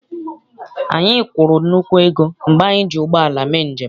Anyị kwụrụ nnukwu ego mgbe anyị ji ụgbọala mee njem.